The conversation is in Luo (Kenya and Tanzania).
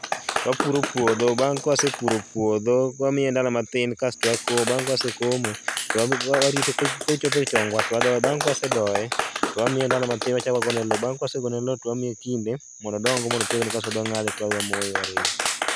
Wapuro puodho, bang' ka wasepuro puodho, wamiye ndalo matin kasto wakomo. Bang' ka wasekomo to warite kochopo e chongwa to wadoye, bang' ka wasedoye to wamiye ndalo matin wachak wagone loo, bang' ka wasegone loo to wamiye kinde mondo odong go mondo otegno kasto wadhi wangade to wadhi wamoye to warege